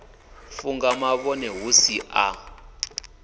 funga mavhone hu si a